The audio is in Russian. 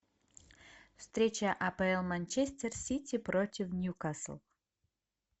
встреча апл манчестер сити против ньюкасл